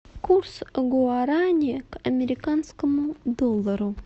курс гуарани к американскому доллару